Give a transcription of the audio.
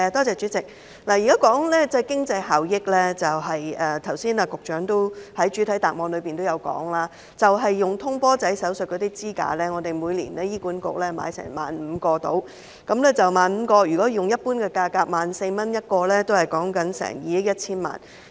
主席，說到經濟效益，以局長剛才在主體答覆中提及的通波仔手術支架為例，醫管局每年採購約15000個支架，若以一般價格每個 14,000 元計算，需要2億 1,000 萬元。